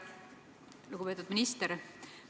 Lugupeetud minister!